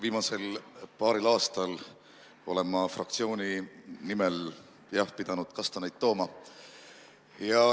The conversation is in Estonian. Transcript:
Viimasel paaril aastal olen ma fraktsiooni nimel, jah, pidanud kastaneid tooma.